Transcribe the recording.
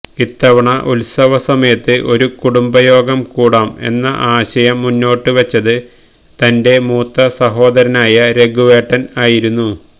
ഇത്തവണ ഉത്സവസമയത്ത് ഒരു കുടുംബയോഗം കൂടാം എന്ന ആശയം മുന്നോട്ടുവെച്ചത് തന്റെ മൂത്ത സഹോദരനായ രഘുവേട്ടന് ആയിരുന്നു